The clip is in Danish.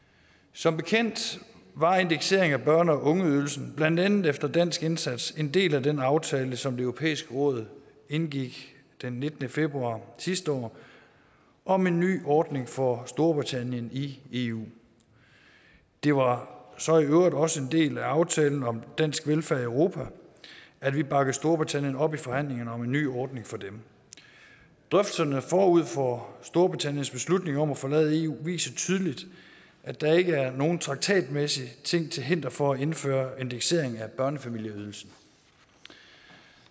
som bekendt var indeksering af børne og ungeydelsen blandt andet efter dansk indsats en del af den aftale som det europæiske råd indgik den nittende februar sidste år om en ny ordning for storbritannien i eu det var så i øvrigt også en del af aftalen om dansk velfærd i europa at vi bakkede storbritannien op i forhandlingerne om en ny ordning for dem drøftelserne forud for storbritanniens beslutning om at forlade eu viser tydeligt at der ikke er nogen traktatmæssige ting til hinder for at indføre indeksering af børnefamilieydelsen